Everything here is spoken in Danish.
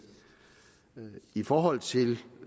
i forhold til